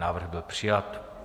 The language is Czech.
Návrh byl přijat.